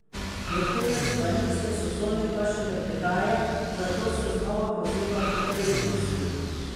Vrhunec planinske sezone pa šele prihaja, zato se znova poziva k previdnosti.